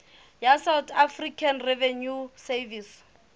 ya south african revenue service